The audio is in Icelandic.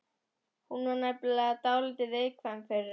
Hún var nefnilega dálítið viðkvæm fyrir þessu.